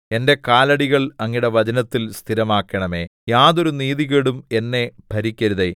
എന്റെ കാലടികൾ അങ്ങയുടെ വചനത്തിൽ സ്ഥിരമാക്കണമേ യാതൊരു നീതികേടും എന്നെ ഭരിക്കരുതേ